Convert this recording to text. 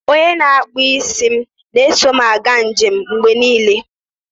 onye na-akpụ isi m na-eso m aga njem mgbe niile